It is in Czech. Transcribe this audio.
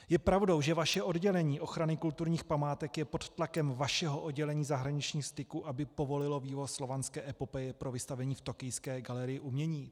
Je pravdou, že vaše oddělení ochrany kulturních památek je pod tlakem vašeho oddělení zahraničních styků, aby povolilo vývoz Slovanské epopeje pro vystavení v tokijské galerii umění?